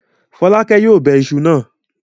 Fọ́lákẹ́ yóò bẹ iṣu náà.